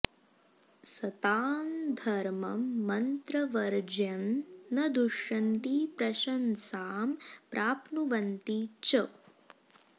सतां धर्मं मन्त्रवर्ज्यं न दुष्यन्ति प्रशंसां प्राप्नुवन्ति च